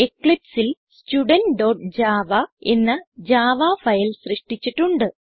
eclipseൽ studentജാവ എന്ന Javaഫയൽ സൃഷ്ടിച്ചിട്ടുണ്ട്